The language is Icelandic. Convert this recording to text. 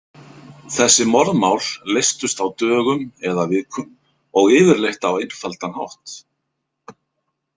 Þessi morðmál leystust á dögum eða vikum og yfirleitt á einfaldan hátt.